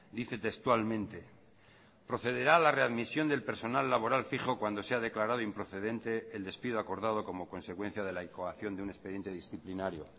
dice textualmente procederá la readmisión del personal laboral fijo cuando sea declarado improcedente el despido acordado como consecuencia de la incoación de un expediente disciplinario